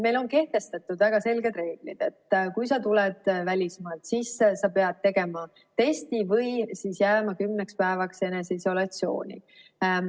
Meil on kehtestatud väga selged reeglid: kui sa tuled välismaalt, siis sa pead tegema testi või jääma kümneks päevaks eneseisolatsiooni.